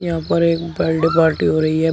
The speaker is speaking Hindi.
यहां पर एक बर्डे पार्टी हो रही है।